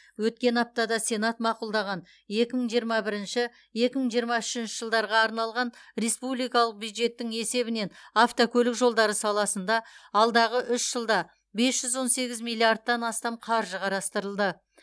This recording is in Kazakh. өткен аптада сенат мақұлдаған екі мың жиырма бірінші екі мың жиырма үшінші жылдарға арналған республикалық бюджеттің есебінен автокөлік жолдары саласында алдағы үш жылда бес жүз он сегіз миллиардтан астам қаржы қарастырылды